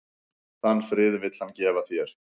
Þann frið vill hann gefa þér.